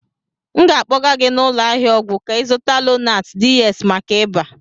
M ga-akpọga gị n'ụlọ ahịa ọgwụ ka ị zuta Lonat DS maka ịba.